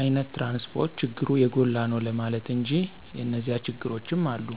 አይነት ትራንስፖርት ችግሩ የጎላ ነው ለማለት እንጂ የኒዚያ ችግሮችም አሉ።